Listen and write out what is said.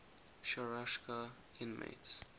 sharashka inmates